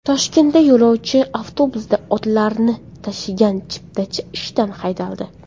Toshkentda yo‘lovchi avtobusda otlarni tashigan chiptachi ishdan haydaldi.